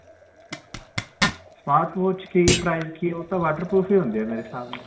smart watch ਕੀ price ਕੀ ਓਹਦਾ ਓਹ ਤਾਂ waterproof ਹੁੰਦਿਆ ਮੇਰੇ ਹਿਸਾਬ ਨਾਲ ਤਾਂ.